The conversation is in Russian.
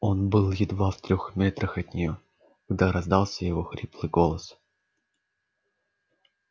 он был едва в трёх метрах от неё когда раздался его хриплый голос